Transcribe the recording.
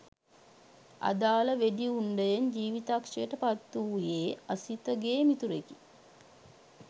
අදාළ වෙඩි උණ්ඩයෙන් ජීවිතක්ෂයට පත්වූයේ අසිතගේ මිතුරෙකි